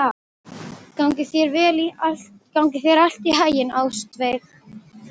Gangi þér allt í haginn, Ástveig.